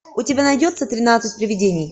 у тебя найдется тринадцать привидений